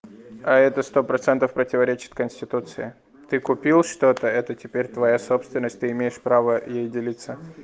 а это сто процентов противоречит конституции ты купил что-то это теперь твоя собственность ты имеешь право ей делиться